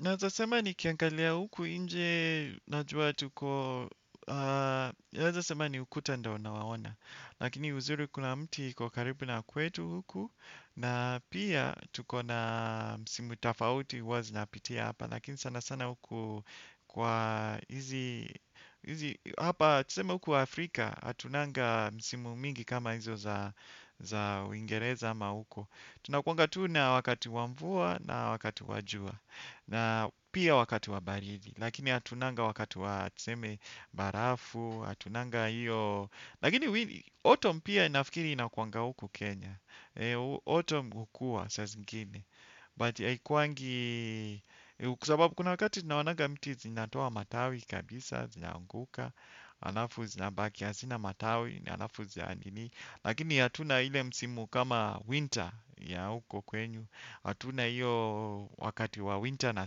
Naeza sema nikiangalia huku nje najua tuko, waeza sema ni ukuta ndio nawaona. Lakini uzuri kuna mti iko karibu na kwetu huku na pia tuko na msimu tafauti huwa zinapitia hapa. Lakini sana sana huku kwa hizi, hapa tuseme huku Afrika hatunanga msimu mingi kama hizo za uingereza ama huko. Tunakuanga tu na wakati wa mvua na wakati wa jua, na pia wakati wa baridi, lakini hatunanga wakati wa tuseme barafu, hatunanga hiyo, lakini autumn pia nafikiri inakuanga huku Kenya, autumn hukua saa zingine, but haikuwangi, kwa sababu kuna wakati tunaonanga miti zinatoa matawi kabisa, zinaanguka, alafu zinabakia, hazina matawi, alafu ziandini, lakini hatuna ile msimu kama winter ya huko kwenyu. Hatuna hiyo wakati wa winter na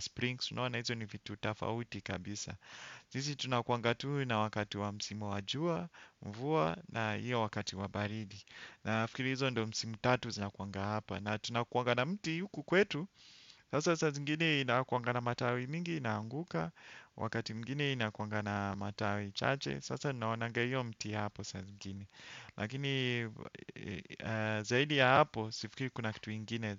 spring si unaona hizo ni vitu tafauti kabisa. Sisi tunakuanga tu na wakati wa msimu wa jua, mvua na hiyo wakati wa baridi. Nafikiri hizo ndo msimu tatu zinakuanga hapa. Na tunakuanga na mti huku kwetu. Sasa saa zingine inakuanga na matawi mingi inaanguka. Wakati mwingine inakuanga na matawi chache. Sasa naonanga hiyo mti hapo saa zingine lakini zaidi ya hapo sifikiri kuna kitu ingine.